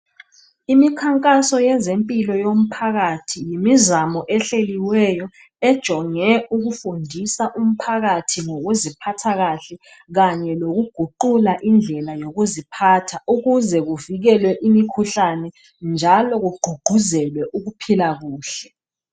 Imikhankaso yezempilo yomphakathi yimizamo ehleliweyo ejonge ukufundisa umphakathi ngokuziphatha kahle kanye lokuguqula indlela yokuziphatha ukuze kuvikelwe imikhuhlane njalo kuququzelwe ukuphila kuhle.